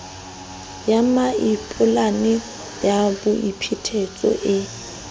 ya mmampholane ya boiphetetso e